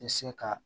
I se ka